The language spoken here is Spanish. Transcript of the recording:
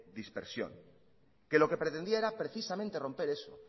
dispersión que lo que pretendía era precisamente romper eso